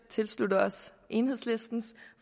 tilslutte os enhedslistens